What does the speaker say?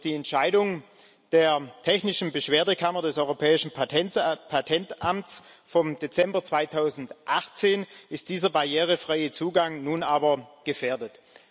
Durch die Entscheidung der technischen Beschwerdekammer des Europäischen Patentamts vom Dezember 2018 ist dieser barrierefreie Zugang nun aber gefährdet.